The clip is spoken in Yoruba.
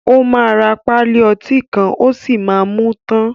O ma rà pálí ọtí kan o sí má mú tán.